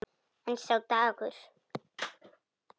En sá dagur!